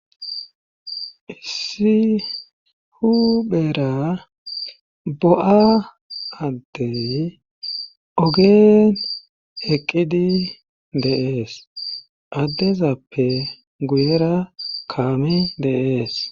issi huphera bo7a addey ogeen eqqidi de7ees addezappe guyera kaame de'ees